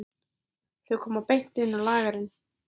Þau komu beint inn á lagerinn.